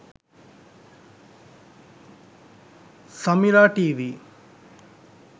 samira tv